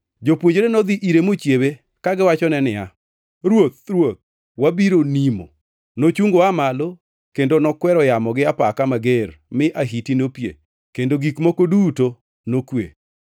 Jopuonjre nodhi ire mochiewe, kagiwachone niya, “Ruoth, Ruoth, wabiro nimo!” Nochungo oa malo kendo nokwero yamo gi apaka mager mi ahiti nopie kendo gik moko duto nokwe.